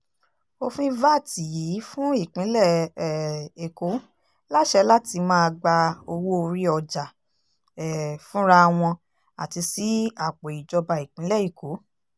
òfin vat yìí fún ìpínlẹ̀ um èkó láṣẹ láti máa gba owó-orí ọjà um fúnra wọn àti sí àpò ìjọba ìpínlẹ̀ èkó